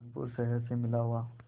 कानपुर शहर से मिला हुआ